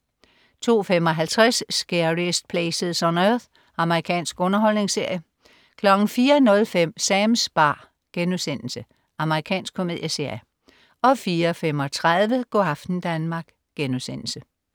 02.55 Scariest Places on Earth. Amerikansk underholdningsserie 04.05 Sams bar* Amerikansk komedieserie 04.35 Go' aften Danmark*